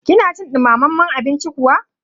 kina cin dumamen abinci kuwa?